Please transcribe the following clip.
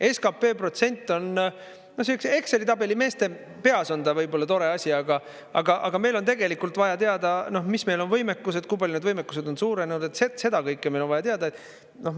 SKP protsent on, Exceli tabeli meeste peas on ta võib-olla tore asi, aga meil on tegelikult vaja teada, mis meil on võimekus, kui palju need võimekused on suurenenud, seda kõike meil on vaja teada.